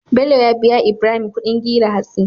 Bello ya biya Ibrahim Ƙudin gire hatsi